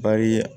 Bari